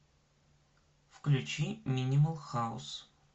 включи минимал хаус